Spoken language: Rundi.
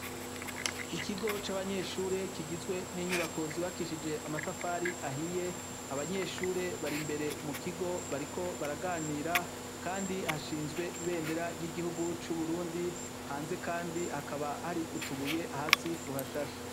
Ikigo c’abanyeshure kigizwe n’inyubako z’ubakishije amatafari ahiye, abanyeshure bari imbere mukigo bariko baraganira, kandi hashinzwe imbendera ry’igihugu c’Uburundi hanze kandi hakaba hari utubuye hasi tuhashashe.